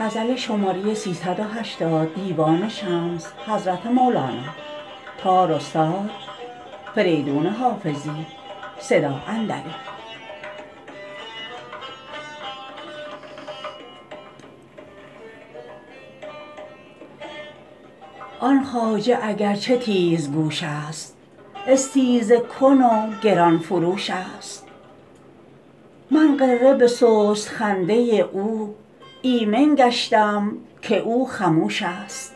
آن خواجه اگر چه تیزگوش است استیزه کن و گران فروش است من غره به سست خنده او ایمن گشتم که او خموش است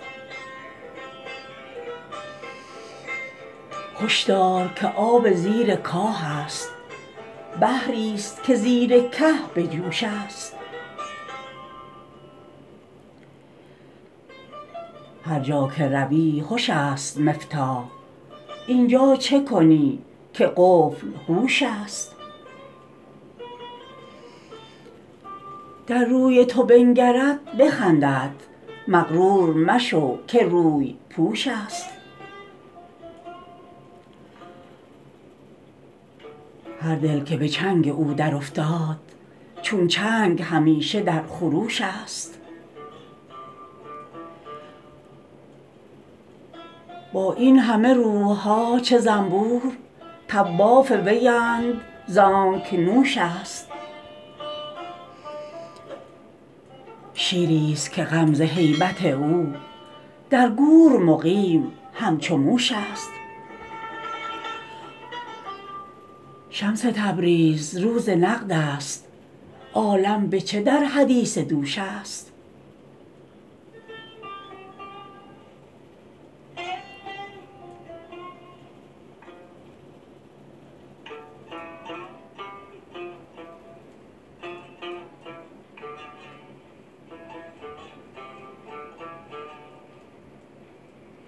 هش دار که آب زیر کاه است بحری است که زیر که به جوش است هر جا که روی هش است مفتاح این جا چه کنی که قفل هوش است در روی تو بنگرد بخندد مغرور مشو که روی پوش است هر دل که به چنگ او درافتاد چون چنگ همیشه در خروش است با این همه روح ها چو زنبور طواف ویند زانک نوش است شیری است که غم ز هیبت او در گور مقیم همچو موش است شمس تبریز روز نقد است عالم به چه در حدیث دوش است